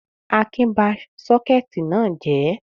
Akin ba sọ́kẹ́tì náà jẹ̀ ẹ́?